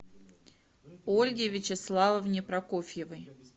ольге вячеславовне прокофьевой